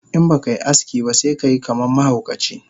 Inbakai aski ba sekayi kaman mahaukaci